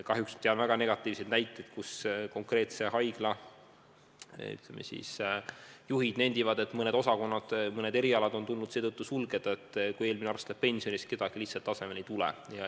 Kahjuks tean väga negatiivseid näiteid, kus konkreetse haigla juhid nendivad, et mõned osakonnad, mõned erialad on tulnud seetõttu sulgeda, et kui senine arst läheb pensionile, siis kedagi lihtsalt asemele ei tule.